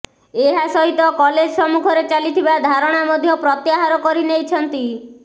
ଏହା ସହିତ କଲେଜ ସମ୍ମୁଖରେ ଚାଲିଥିବା ଧାରଣା ମଧ୍ୟ ପ୍ରତ୍ୟାହାର କରି ନେଇଛନ୍ତି